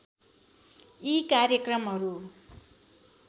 यी कार्यक्रमहरू